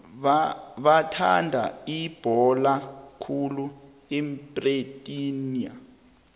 bathanda ibhola khulu ebritani